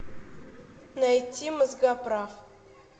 найти мозгоправ